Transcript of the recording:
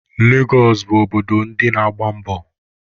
Legọsụ bụ obodo ndi na-agba mbọ.